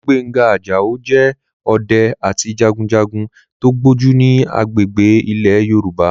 Olúgbénga Àjàó jẹ́ ọdẹ àti jagunjagun tó gbójú ní agbègbè ilẹ̀ Yorùbá